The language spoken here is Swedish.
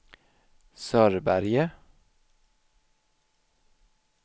Sörberge